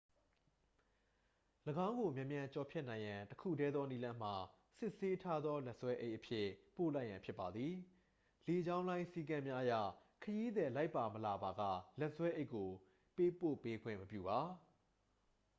၎င်းကိုမြန်မြန်ကျော်ဖြတ်နိုင်ရန်တစ်ခုတည်းသောနည်းလမ်းမှာ စစ်ဆေးထားသောလက်ဆွဲအိတ်အဖြစ် ပို့လိုက်ရန်ဖြစ်ပါသည် လေကြောင်းလိုင်းစည်းကမ်းများအရ ခရီးသည်လိုက်ပါမလာပါက လက်ဆွဲအိတ်ကိုပေးပို့ပေးခွင့်မပြုပါ